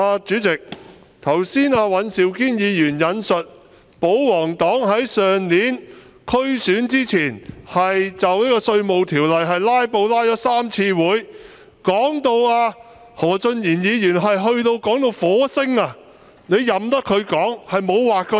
主席，尹兆堅議員剛才說保皇黨在去年區選前，就《2019年稅務條例草案》"拉布"拉了3次會議，何俊賢議員更說到火星，你卻任由他說，沒有劃線。